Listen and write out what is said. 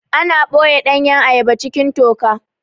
Ana ɓoye ɗanyan ayaba cikin toka